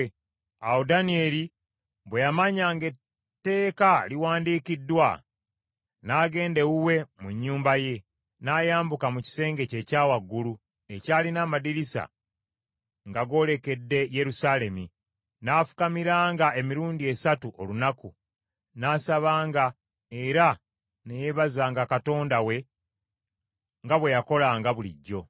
Awo Danyeri bwe yamanya ng’etteeka liwandiikiddwa, n’agenda ewuwe mu nnyumba ye, n’ayambuka mu kisenge kye ekya waggulu ekyalina amadirisa nga goolekedde Yerusaalemi, n’afukamiranga emirundi esatu olunaku, n’asabanga era ne yeebazanga Katonda we nga bwe yakolanga bulijjo.